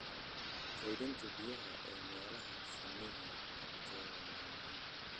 Kaydinta biyaha ee meelaha shinnida agtooda waa muhiim.